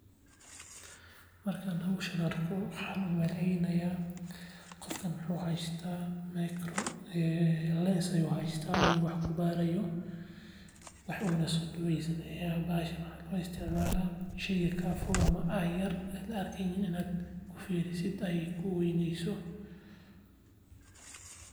Markan howshan arko waxan umaleynaya qofkan wuxuu haysta micro lense ayu haysta uu wax kubaarayo wuxuuna soo dhaweysanaya bahashan waxaa lugu isticmaala sheyga kaa fog ama ay yar an la arkeynin inad kufiirisid ad kuweyneyso